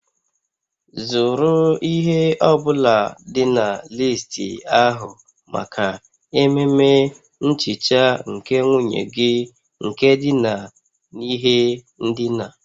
Zụrụ ihe ọ bụla dị na listi ahụ maka ememe nhicha nke nwunye gị nke dina n'ihe ndina